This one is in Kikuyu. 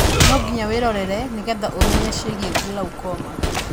Nonginya wĩrorere nĩgetha ũmenye ciĩgiĩ glaucoma